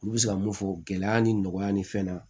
Olu bɛ se ka mun fɔ gɛlɛya ni nɔgɔya ni fɛn na